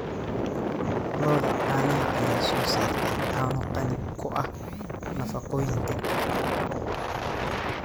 Lo'da caanaha ayaa soo saarta caano qani ku ah nafaqooyinka.